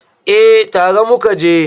eh tare muka je